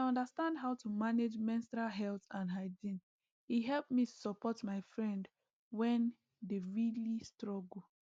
as i understand how to manage menstrual health and hygiene e help me support my friend wen dey really struggle